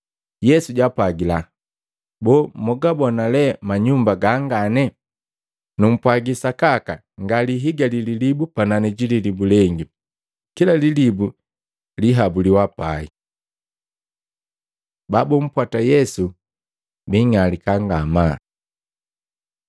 Yesu jaapwagila, “Boo, mgabona le manyumba gangane. Numpwagi sakaka ngalihigali lilibu panani ji lilibu lengi, kila lilibu liihabuliwa pai.” Babumpwata Yesu biing'alika ngamaa Maluko 13:3-13; Luka 21:7-19